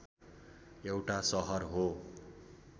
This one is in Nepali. एउटा सहर हो।